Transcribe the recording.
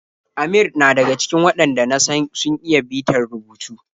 Amir na daga cikin waɗanda na san sun iya bitar rubutu.